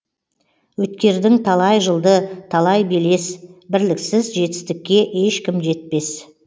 өткердің талай жылды талай белес бірліксіз жетістікке ешкім жетпес